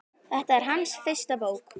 Þetta er hans fyrsta bók.